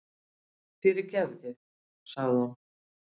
Fyrirgefðu, sagði hún.